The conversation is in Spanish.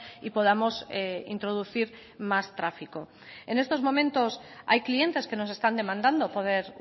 y podamos introducir más tráfico en estos momentos hay clientes que nos están demandando poder